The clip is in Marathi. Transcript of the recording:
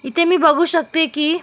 इथे मी बघू शकते की--